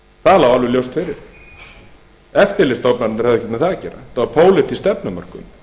það lá alveg ljóst fyrir eftirlitsstofnanirnar höfðu ekkert með það að gera þetta var pólitísk stefnumörkun